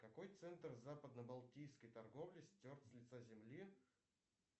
какой центр западно балтийской торговли стерт с лица земли